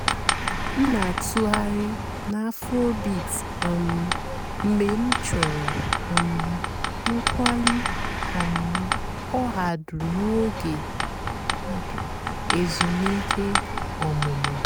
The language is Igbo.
m nà-àtụ́ghàrị́ nà afróbeat um mg̀bé m chọ̀rọ́ um ǹkwàlí um ọ̀hàdụ́ n'óge èzùmìké ọ̀mụ́mụ́.